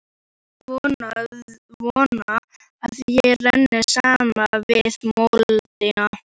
Vona að ég renni saman við moldina.